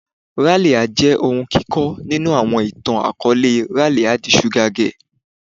Ralia jẹ ohun kikọ ninu awọn itan-akọọlẹ "Ralia the sugar girl"